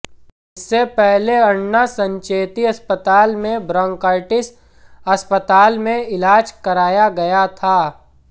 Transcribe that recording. इससे पहले अण्णा संचेती अस्पताल में ब्रांकाइटिस अस्पताल में इलाज कराया गया था